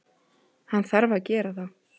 Hann þarf að gera það.